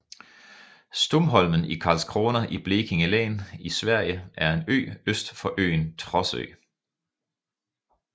Stumholmen i Karlskrona i Blekinge län i Sverige er en ø øst for øen Trossö